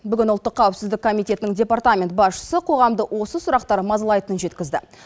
бүгін ұлттық қауіпсіздік комитетінің департамент басшысы қоғамды осы сұрақтар мазалайтынын жеткізді